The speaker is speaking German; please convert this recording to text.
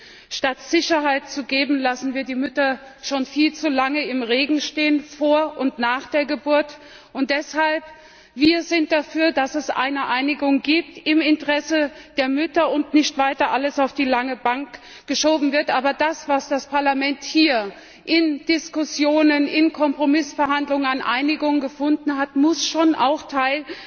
Denn statt Sicherheit zu geben, lassen wir die Mütter schon viel zu lange im Regen stehen, vor und nach der Geburt. Deshalb sind wir dafür, dass es eine Einigung gibt im Interesse der Mütter und dass nicht weiter alles auf die lange Bank geschoben wird. Aber das, was das Parlament hier in Diskussionen, in Kompromissverhandlungen an Einigung gefunden hat, muss schon auch Teil